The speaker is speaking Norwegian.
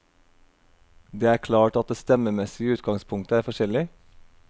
Det er klart at det stemmemessige utgangspunktet er forskjellig.